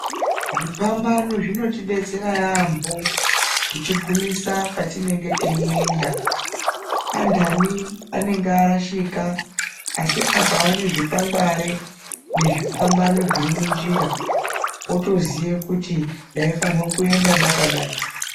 Zvipambano zvinotidetsera yambo kuti gumisa kwatinenge teienda andani anenge arashika asi akaona zvikwangwari nezvipambano zviri munjira otoziva kuti ndaifana kuenda ndakadai.